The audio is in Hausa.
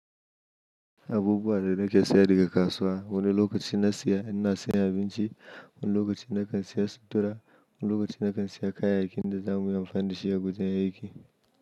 Abubuwa da nake saya daga kasuwa. Wani lokacin na saya, inna saya abinci, wani lokacin na kan saya sutura, wani lokacin na kan saya kayayyakin da zamu yi amfani da shi ya gujin da aiki.